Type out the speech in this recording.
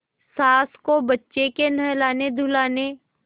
सास को बच्चे के नहलानेधुलाने